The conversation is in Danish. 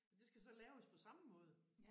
Og det skal så laves på samme måde